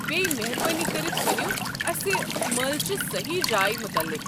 بییٚہِ، مہربٲنی کٔرِتھ وَنِو اسہِ مٲلٕچہِ سہی جایہِ متعلِق۔